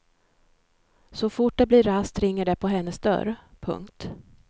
Så fort det blir rast ringer det på hennes dörr. punkt